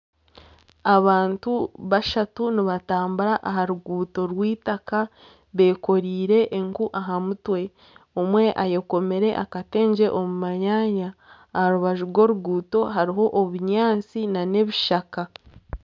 Abantu bashatu nibatambura aha ruguuto rw'itaka bekoreire enku aha mutwe. Omwe ayekomire akatengye omu manyaanya. Aharubaju rw'oruguuto hariho obunyaatsi na nebishaka.